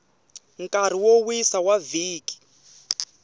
nkarhi wo wisa wa vhiki